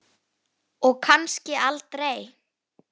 Og kannski aldrei.